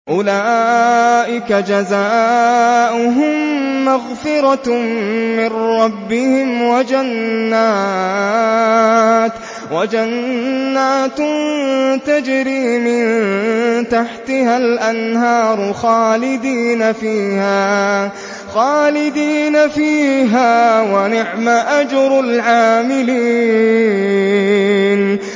أُولَٰئِكَ جَزَاؤُهُم مَّغْفِرَةٌ مِّن رَّبِّهِمْ وَجَنَّاتٌ تَجْرِي مِن تَحْتِهَا الْأَنْهَارُ خَالِدِينَ فِيهَا ۚ وَنِعْمَ أَجْرُ الْعَامِلِينَ